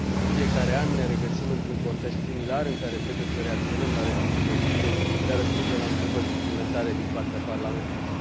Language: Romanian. În fiecare an ne regăsim într un context similar, în care trebuie să reacționăm la refuzul Consiliului de a răspunde la întrebări suplimentare din partea Parlamentului.